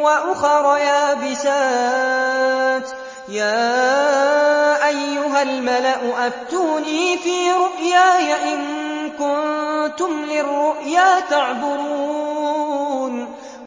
وَأُخَرَ يَابِسَاتٍ ۖ يَا أَيُّهَا الْمَلَأُ أَفْتُونِي فِي رُؤْيَايَ إِن كُنتُمْ لِلرُّؤْيَا تَعْبُرُونَ